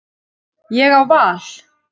Ég á val.